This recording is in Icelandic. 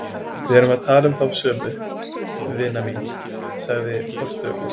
Við erum að tala um þá sömu, vina mín, sagði forstöðukonan.